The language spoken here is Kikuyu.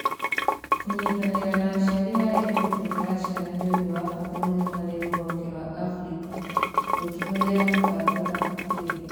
Kũnyitanĩra na aciari harĩ ũrutani wa ciana nĩ ũndũ wa bata mũno harĩ rũhonge rwa Africa rũkĩhũthĩra mĩbango na ũtuĩria